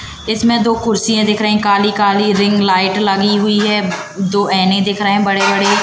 इसमें दो कुर्सियां दिख रही काली काली रिंग लाइट लगी हुई है दो एने दिख रहे बड़े बड़े।